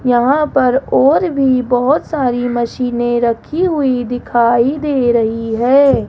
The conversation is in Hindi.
यहां पर और भी बहोत सारी मशीनें रखी हुई दिखाई दे रही हैं।